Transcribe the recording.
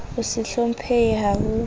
ho se hlomphehe ha ho